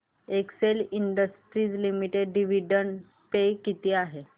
Excel industries limited dividend pay किती आहे